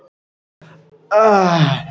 Áhrif á kröfuhafa Giftar